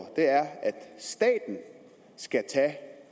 er at staten skal tage